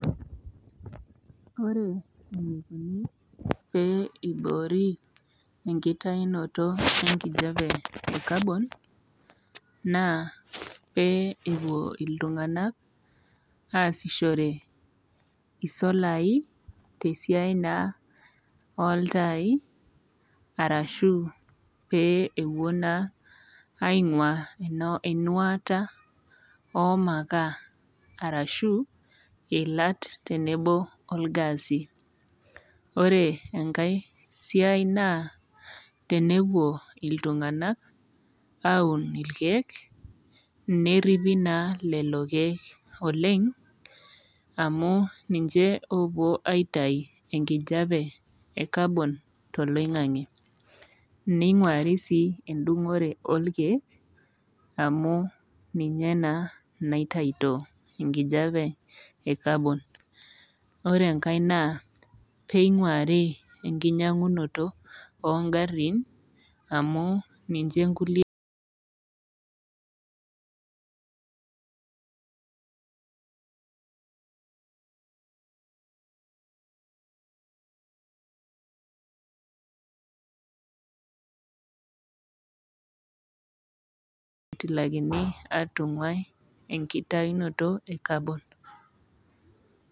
Ore eneikuni pee eiboori enkitayunoto e enkijape kabon, naa pee epuo iltung'anak aasishore isolai, tesiai naa o iltai, arashu pee epuo naa aing'ua einuata e mukaa, arashu iilat tenebo o ilgasi. Ore enkai siai naa tenewuo iltung'anak aun ilkeek, neripi naa lelo keek oleng' amu ninche loopuo aitayu enkijape e kabon toloing'ang'e. Neing'uari sii endung'ore olkeek, amu ninye naa naitayuto enkijape e kabon. Ore enkai naa pee eing'uari enkinyang'unoto oo ing'arin amu ninche inkulie pee etilakini atung'wai enkitayunoto e kabon.